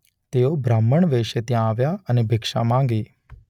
તે ઓ બ્રાહ્મણ વેશે ત્યાં આવ્યા અને ભિક્ષા માંગી.